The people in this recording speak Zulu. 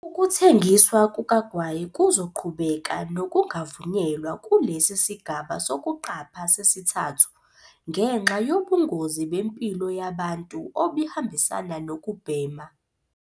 Ukuthengiswa kukagwayi kuzoqhubeka nokungavunyelwa kulesi sigaba sokuqapha sesithathu, ngenxa yobungozi bempilo yabantu obuhambisana nokubhema.